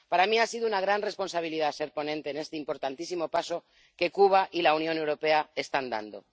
Para mí ha sido una gran responsabilidad ser ponente en este importantísimo paso que Cuba y la Unión Europea están dando.